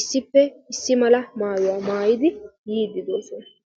issippe issi mala maayuwa maayidi yiiddi doosona.